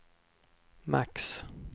max